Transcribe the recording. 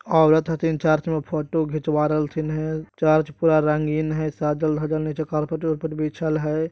औरत हथिन चर्च मे फोटो खिचवारल थीन हए । चर्च पूरा रंगीन है सादल धाजल नहि छे कार्पेट वारपेट बीछल हई ।